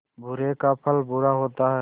बुरे का फल बुरा होता है